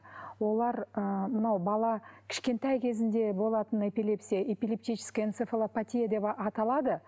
олар ы мынау бала кішкентай кезінде болатын эпилепсия эпилептическая энцофалопатия деп аталады